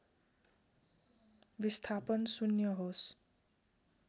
विस्थापन शून्य होस्